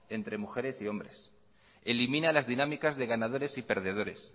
entre mujeres y hombre elimina las dinámicas de ganadores y perdedores